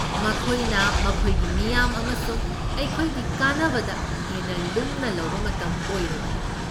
ꯃꯈꯣꯏꯅ ꯃꯈꯣꯏꯒꯤ ꯃꯤꯌꯥꯝ ꯑꯃꯁꯨꯡ ꯑꯩꯈꯣꯏꯒꯤ ꯀꯥꯟꯅꯕꯗ ꯍꯦꯟꯅ ꯂꯨꯝꯅ ꯂꯧꯕ ꯃꯇꯝ ꯑꯣꯏꯔꯕꯅꯤ꯫